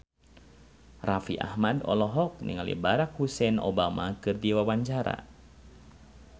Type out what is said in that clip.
Raffi Ahmad olohok ningali Barack Hussein Obama keur diwawancara